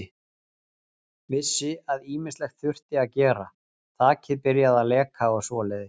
Vissi að ýmislegt þurfti að gera, þakið byrjað að leka og svoleiðis.